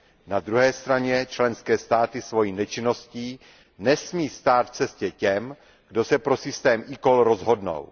Na druhé straně členské státy svojí nečinností nesmí stát v cestě těm, kdo se pro systém eCall rozhodnou.